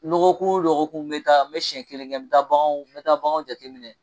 lɔgɔkun wo lɔgɔkun n bɛ taa n bɛ siɲɛ kelen kɛ n bɛ taa baganw n bɛ taa baganw jateminɛ.